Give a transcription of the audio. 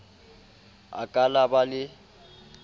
a ka la ba le